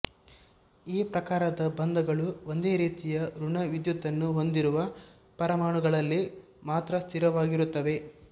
ಈ ಪ್ರಕಾರದ ಬಂಧಗಳು ಒಂದೇ ರೀತಿಯ ಋಣ ವಿದ್ಯುತ್ಯನ್ನು ಹೊಂದಿರುವ ಪರಮಾಣುಗಳಲ್ಲಿ ಮಾತ್ರ ಸ್ಥಿರವಾಗಿರುತ್ತವೆ